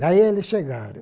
Daí eles chegaram.